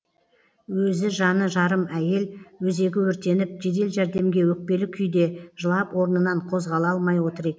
өзі жаны жарым әйел өзегі өртеніп жедел жәрдемге өкпелі күйде жылап орнынан қозғала алмай отыр ек